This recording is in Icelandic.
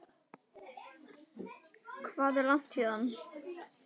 Hvað er langt héðan?